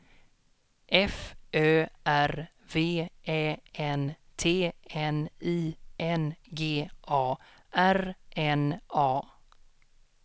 F Ö R V Ä N T N I N G A R N A